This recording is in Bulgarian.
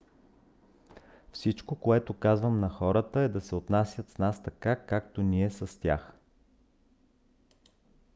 всичко което казвам на хората е да се отнасят с нас така както ние с тях